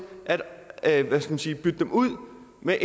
at og med